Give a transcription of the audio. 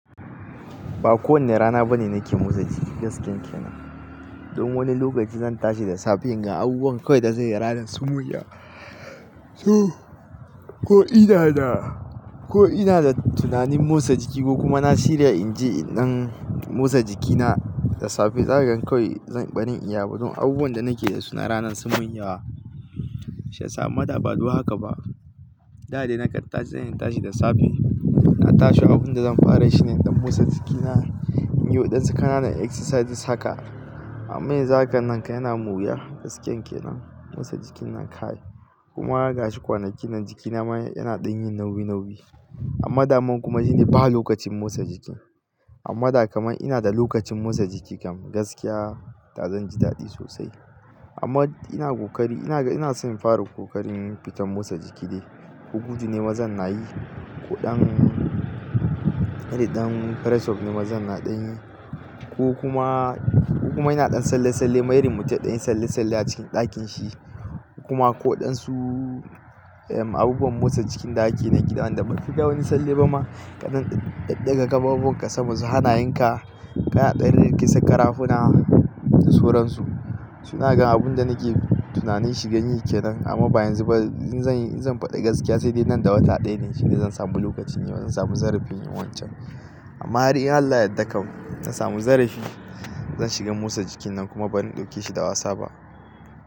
Ba kowane rana bane nake motsa jiki gaskiyanke nan. Don wani lokaci zan tashi da safe yin ga abubuwan kawai dan zanyi ranan sun sumin yawa. Ko ina da, ko ina da tunanin motsa jiki ko kuma na shirya in ji in dan motsa jikina da safe, zakaga kawai ba zan iya ba don abubuwan da nake da su na ranan sun wuya. Shi ya sama da ba dun haka ba. Da dai na kan tashi zan tashi da safe. Na tashi abunda zan fara shine dan motsa jiki na, in yi waɗansu ƙananan exercises haka. Amma yanzu haka nan ka yana mun wuya gaskiyanke nan. Motsa jiki nan kai. Kuma gashi kwanakin nan jikina ma yana dan yin nauyi, nauyi. Amma daman kuma shine ba lokacin motsa jiki. Amma da kamar ina da lokacin motsa jiki kam gaskiya da zanji daɗi sosai. Amma ina ƙoƙari ina, ina son fara ƙoƙarin fita motsa jiki dai. Ko gudu ne ma zan nayi, ko ɗan, iri ɗan press up ne mazan naɗin yi, ko kuma, ko kuma inaɗan tsalle, tsalle. Wai irin mutum ya ɗanyi tsalle, tsalle a cikin ɗakin shi. Kuma koɗansu abubuwan motsa jiki da ake na gidan da bai fi da wani tsalle ba ma. Kaɗan ɗaga kafafuwan ka sama su hana yanka, kaɗan rikisa karafunan da suran su. Su na ga abun da nake tunanin shirin shi ani yake nan. Amma bayanzu ba in zanyi, in zan faɗi gaskiya sai dai nan da wata ɗaya ne shine zan samu lokaci ne bazan samu zarifi yin wancan. Amma hari in Allah ya ɗauka zan samu zarifi, zan shiga motsa jiki nan kuma bazan dauke shi da wasa ba.